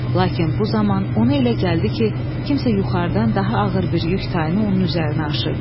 Lakin bu zaman ona elə gəldi ki, kimsə yuxarıdan daha ağır bir yük tayını onun üzərinə aşırdı.